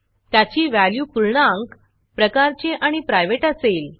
त्याची व्हॅल्यू पूर्णांक प्रकारची आणि प्रायव्हेट असेल